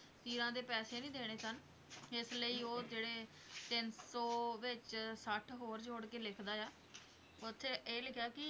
ਤੀਰਾਂ ਦੇ ਪੈਸੇ ਨਹੀਂ ਦੇਣੇ ਸਨ ਇਸ ਲਈ ਉਹ ਜਿਹੜੇ ਤਿੰਨ ਸੌ ਵਿੱਚ ਸੱਠ ਹੋਰ ਜੋੜ ਕੇ ਲਿੱਖਦਾ ਹੈ ਉੱਥੇ ਇਹ ਲਿਖਿਆ ਸੀ,